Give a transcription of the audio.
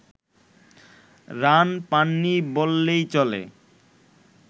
run পাননি বললেই চলে